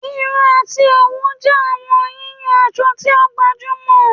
Irun ati owu jẹ awọn yiyan asọ ti o gbajumọ